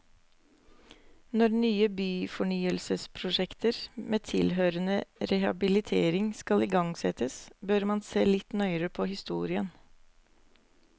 Når nye byfornyelsesprosjekter med tilhørende rehabilitering skal igangsettes, bør man se litt nøyere på historien.